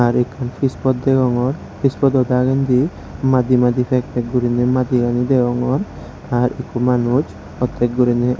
tey ekkan pispot degogor pispodow dagendi madi madi pak pak goriney madigani degogor ar eko manus oddek goriney.